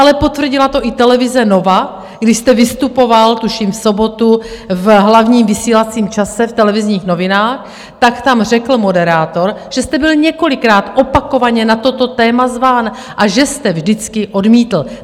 Ale potvrdila to i televize Nova, když jste vystupoval, tuším, v sobotu v hlavním vysílacím čase v Televizních novinách, tak tam řekl moderátor, že jste byl několikrát opakovaně na toto téma zván a že jste vždycky odmítl.